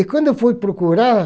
E quando eu fui procurar,